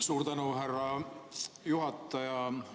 Suur tänu, härra juhataja!